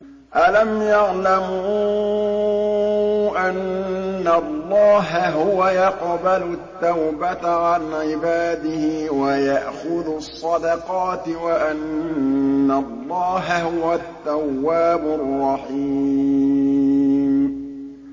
أَلَمْ يَعْلَمُوا أَنَّ اللَّهَ هُوَ يَقْبَلُ التَّوْبَةَ عَنْ عِبَادِهِ وَيَأْخُذُ الصَّدَقَاتِ وَأَنَّ اللَّهَ هُوَ التَّوَّابُ الرَّحِيمُ